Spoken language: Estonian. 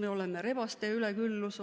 meil on rebaste üleküllus.